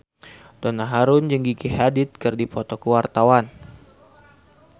Donna Harun jeung Gigi Hadid keur dipoto ku wartawan